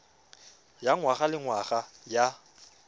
ya ngwaga le ngwaga ya